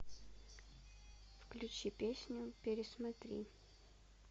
включи песню пересмотри